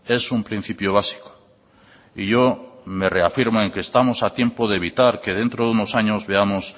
es un principio básico y yo me reafirmo en que estamos a tiempo de evitar que dentro de unos años veamos